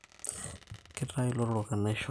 Kitayu ilotorok enaisho